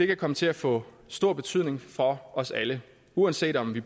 kan komme til at få stor betydning for os alle uanset om vi